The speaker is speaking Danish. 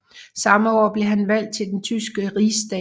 Samme år blev han valgt til den tyske rigsdag